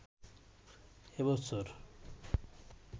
এ বছর